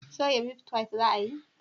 soya mitfai za a yi?